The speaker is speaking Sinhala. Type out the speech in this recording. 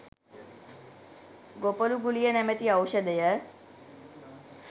‘‘ගොපළු ගුලිය“ නමැති ඖෂධය